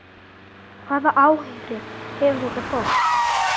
Hvaða áhrif hefur þetta fólk?